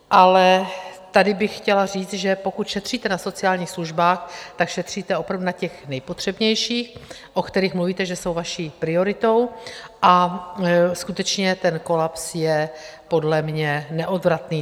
Ale tady bych chtěla říct, že pokud šetříte na sociálních službách, tak šetříte opravdu na těch nejpotřebnějších, o kterých mluvíte, že jsou vaší prioritou, a skutečně ten kolaps je podle mě neodvratný.